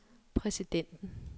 præsidenten